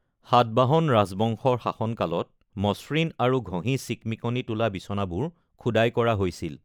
সাতবাহন ৰাজবংশৰ শাসনকালত মসৃণ আৰু ঘঁহি চিকমিকনি তোলা বিচনাবোৰ খোদাই কৰা হৈছিল।